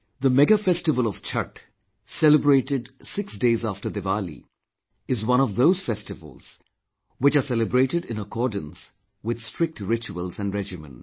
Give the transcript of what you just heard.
The mega festival of Chatth, celebrated 6 days after Diwali, is one of those festivals which are celebrated in accordance with strict rituals & regimen